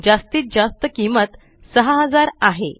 जास्तीत जास्त किंमत 6000 आहे